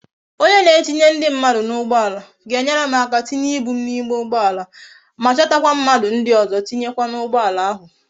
Onye na etinye ndi mmadu na ugboala ahu ga enwere m aka tinye ibu m na ime ugboala ma chota kwa mmadu ndi ozo tinye kwa na ugboala ahu